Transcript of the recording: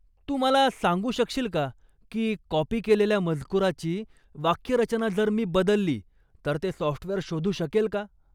तू मला सांगू शकशील का की कॉपी केलेल्या मजकुराची वाक्यरचना जर मी बदलली तर ते सॉफ्टवेअर शोधू शकेल का?